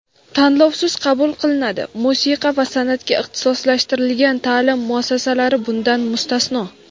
tanlovsiz qabul qilinadi (musiqa va sanʼatga ixtisoslashtirilgan taʼlim muassasalari bundan mustasno).